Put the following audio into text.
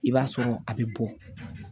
I b'a sɔrɔ a bɛ bɔ